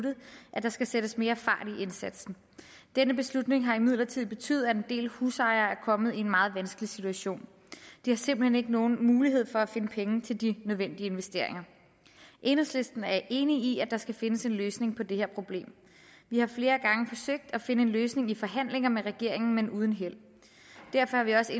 at der skal sættes mere fart i indsatsen denne beslutning har imidlertid betydet at en del husejere er kommet i en meget vanskelig situation de har simpelt hen ikke nogen mulighed for at finde penge til de nødvendige investeringer enhedslisten er enig i at der skal findes en løsning på det her problem vi har flere gange forsøgt at finde en løsning i forhandlinger med regeringen men uden held derfor er vi også